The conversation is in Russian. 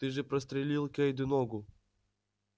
ты же прострелил кэйду ногу